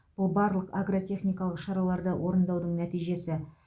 бұл барлық агротехникалық шараларды орындаудың нәтижесі